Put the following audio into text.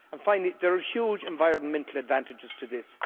Finally, there are huge environmental advantages to this.